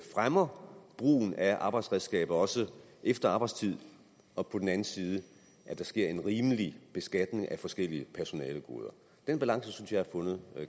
fremmer brugen af arbejdsredskaber også efter arbejdstid og på den anden side at der sker en rimelig beskatning af forskellige personalegoder den balance synes jeg er fundet